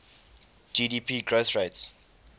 gdp growth rates